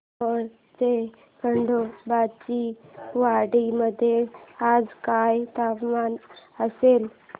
मोहोळच्या खंडोबाची वाडी मध्ये आज काय तापमान असेल